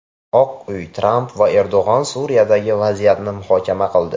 Oq uy: Tramp va Erdo‘g‘on Suriyadagi vaziyatni muhokama qildi.